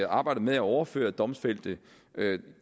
arbejdet med at overføre domfældte